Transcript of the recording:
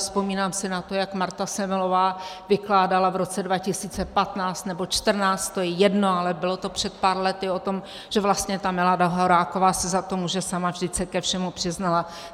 Vzpomínám si na to, jak Marta Semelová vykládala v roce 2015 nebo 2014, to je jedno, ale bylo to před pár lety, o tom, že vlastně ta Milada Horáková si za to může sama, vždyť se ke všemu přiznala.